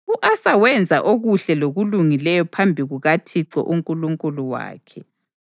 U-Asa wenza okuhle lokulungileyo phambi kukaThixo uNkulunkulu wakhe.